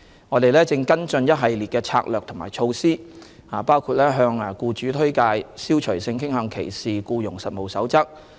我們正跟進一系列策略及措施，包括向僱主推廣《消除性傾向歧視僱傭實務守則》。